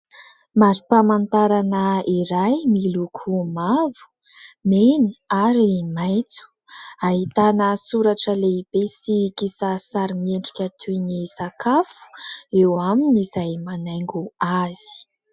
Mari-pamantarana iray miloko mavo, mena ary maitso. Ahitana soratra lehibe sy kisarisary miendrika toy ny sakafo eo aminy izay manaingo azy.